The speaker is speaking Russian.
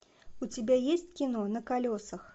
у тебя есть кино на колесах